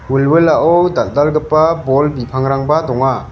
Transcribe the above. wilwilao dal·dalgipa bol bipangrangba donga.